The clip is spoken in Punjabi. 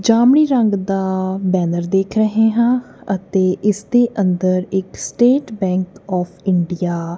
ਜਾਮਨੀ ਰੰਗ ਦਾ ਬੈਨਰ ਦੇਖ ਰਹੇ ਹਾਂ ਅਤੇ ਇਸ ਦੇ ਅੰਦਰ ਇੱਕ ਸਟੇਟ ਬੈਂਕ ਔਫ ਇੰਡੀਆ --